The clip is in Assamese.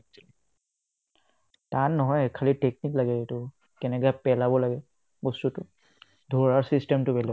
টান নহয় খালী technique লাগে এইটো কেনেকে পেলাব লাগে বস্তুটো ধৰা system টো বেলেগ